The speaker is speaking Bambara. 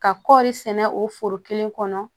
Ka kɔɔri sɛnɛ o foro kelen kɔnɔ